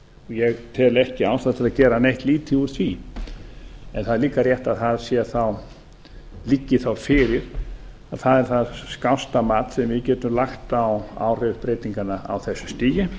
ég tel ekki ástæðu til að gera neitt lítið úr því en það er líka rétt að það liggi þá fyrir að það er það skásta mat sem við getum lagt á áhrif breytinganna á þessu stigi